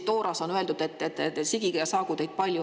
Tooras on öeldud, et sigige ja saagu teid palju.